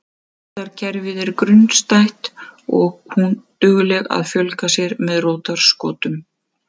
Rótarkerfið er grunnstætt og er hún dugleg að fjölga sér með rótarskotum.